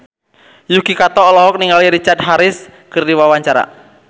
Yuki Kato olohok ningali Richard Harris keur diwawancara